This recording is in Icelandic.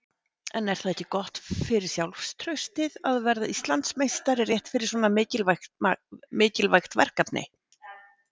En er það ekki gott fyrir sjálfstraustið að verða Íslandsmeistari rétt fyrir svona mikilvægt verkefni?